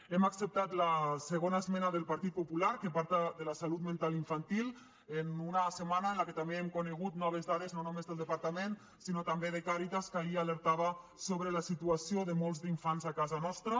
hem acceptat la segona esmena del partit popular que parla de la salut mental infantil en una setmana en què també hem conegut noves dades no només del departament sinó també de càritas que ahir alertava sobre la situació de molts d’infants a casa nostra